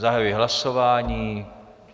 Zahajuji hlasování.